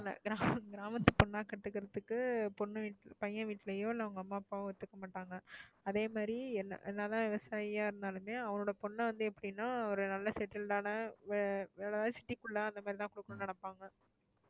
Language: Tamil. கிராம~ கிராமத்து பொண்ணா கட்டிக்கறத்துக்கு பொண்ணு வீட்டுல~ பையன் வீட்டுலயும் இல்ல அவங்க அம்மா அப்பாவும் ஒத்துக்கமாட்டாங்க. அதே மாதிரி என்ன~ என்ன தான் விவசாயியா இருந்தாலுமே அவங்களோட பொண்ண வந்து எப்படின்னா ஒரு நல்ல settled ஆன ஆஹ்